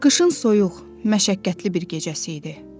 Qışın soyuq, məşəqqətli bir gecəsi idi.